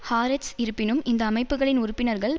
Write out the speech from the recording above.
Haaretz இருப்பினும் இந்த அமைப்புக்களின் உறுப்பினர்கள்